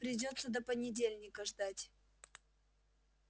придётся до понедельника ждать